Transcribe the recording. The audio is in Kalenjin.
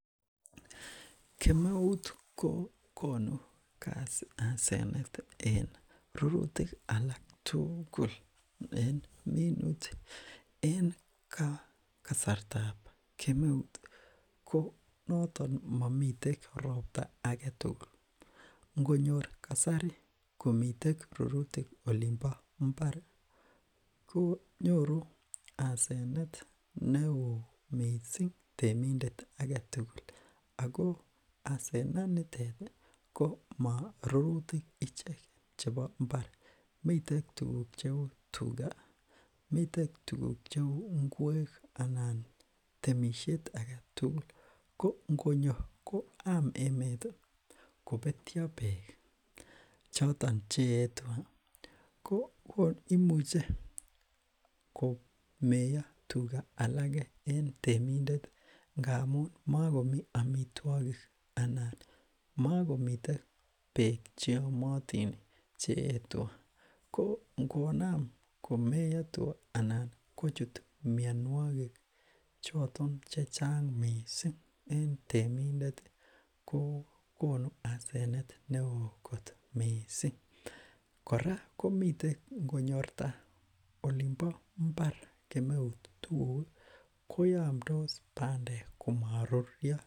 Kemeut ko konu asenet en rurutik alak tugul en minutik en kasartab kemeut, ko noton momiten ropta ake tugul, ngonyor kasari komitek rurutik olin bo mbar ii, ko nyoru asenet ne oo mising temindet ake tugul ii, ako asenet nitet ii ko marurutik icheket chebo imbar, mitek tuguk cheu tuga, mitek tuguk cheu ingwek anan temisiet ake tugul, ko ngonyo ko yam emet ii kobetyo beek choton che eei tuga, ko imuche komeiyo tuga alake en temindet ngamun, makomi amitwogik anan makomitei beek che yomotin che eei tuga, ko ngonam komeiyo tuga anan kochut mionwogik choton che chang mising en temindet ii, kokonu asenet ne oo kot mising, kora komiten konyorta olin bo mbar kemeut tukuk ii koyamtos bandek komaruryo.